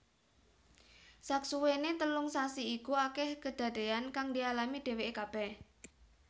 Saksuwéné telung sasi iku akèh kedadéyan kang dialami dhèwèké kabèh